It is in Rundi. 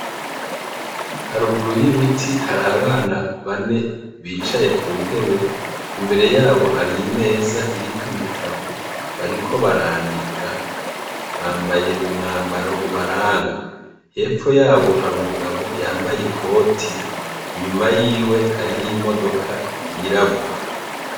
haruguru y'ibiti hari abana bane bicaye ku ntebe, imbere yabo hari imeza iriko ibitabo, bariko barandika, bambaye umwambaro ubaranga, hepfo yabo hari umugabo yambaye ikoti, inyuma yiwe hariyo imodoka y'irabura.